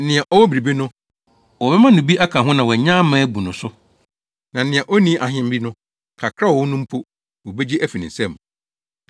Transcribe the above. Nea ɔwɔ biribi no, wɔbɛma no bi aka ho na wanya ama abu no so. Na nea onni ahe bi no, kakra a ɔwɔ no mpo, wobegye afi ne nsam.